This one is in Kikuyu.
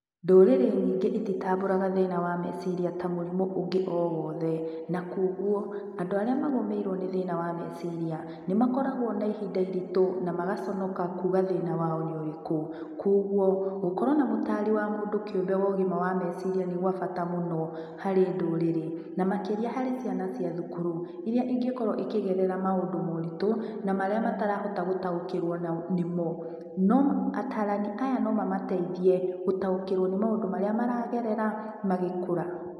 Ndũrĩrĩ nyingĩ ititambũraga thĩna wa meciria ta mũrimũ ũngĩ o wothe, na kuoguo, andũ arĩa magomeirwo nĩ thĩna wa meciria nĩmakoragwo na ihinda iritũ na magaconoka kuuga thĩna wao nĩ ũrĩkũ. Kuoguo gũkorwo na mũtari wa mũndũ kĩũmbe wo ũgima wa meciria nĩ gwa bata mũno, harĩ ndũrĩrĩ, na makĩria harĩ ciana cia thukuru, iria ingĩkorwo ikĩgerera maũndũ maũritũ, na marĩa matarahota gũtaũkĩrwo nĩmo. No atarani aya no mamateithie gũtaũkĩrwo nĩ maũndũ marĩa maragerera magĩkũra.